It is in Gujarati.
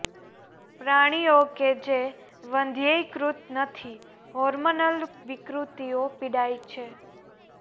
પ્રાણીઓ કે જે વંધ્યીકૃત નથી હોર્મોનલ વિકૃતિઓ પીડાય છે